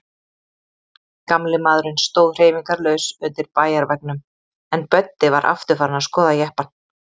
Gamli maðurinn stóð hreyfingarlaus undir bæjarveggnum, en Böddi var aftur farinn að skoða jeppann.